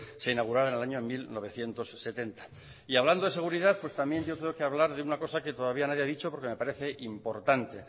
se inaugurara en año mil novecientos setenta y hablando de seguridad pues también yo creo que hablar de una cosa que todavía nadie ha dicho porque me parece importante